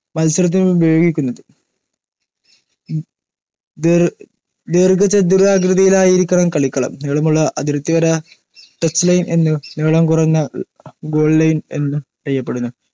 മത്സരത്തിനുപയോഗിക്കുന്നത്‌. ദീർഘ ചതുരാകൃതിയിലായിരിക്കണം കളിക്കളം. നീളമുളള അതിർത്തിവര ടച്ച്‌ ലൈൻ എന്നും നീളം കുറഞ്ഞത്‌ ഗോൾ ലൈൻ എന്നും അറിയപ്പെടുന്നു.